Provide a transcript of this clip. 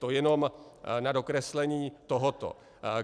To jenom na dokreslení tohoto.